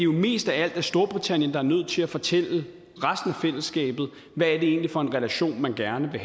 mest af alt er storbritannien der er nødt til at fortælle resten af fællesskabet hvad det egentlig er for en relation man gerne vil